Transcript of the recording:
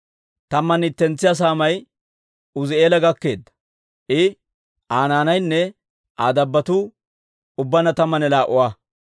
Tammanne ittentsiyaa saamay Uuzi'eela gakkeedda; I, Aa naanaynne Aa dabbotuu ubbaanna tammanne laa"a.